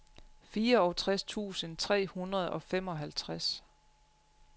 fireogtres tusind tre hundrede og femoghalvtreds